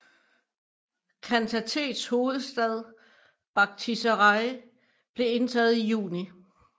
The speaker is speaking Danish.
Khantatets hovedstad Bakhtjisaraj blev indtaget i juni